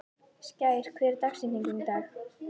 Skær, hver er dagsetningin í dag?